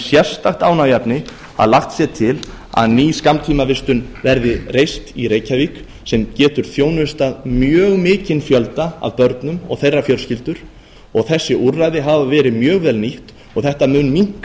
sérstakt ánægjuefni að lagt sé til að ný skammtímavistun verði reist í reykjavík sem getur þjónustað mjög mikinn fjölda af börnum og þeirra fjölskyldur og þessi úrræði hafa verið mjög vel nýtt og þetta mun minnka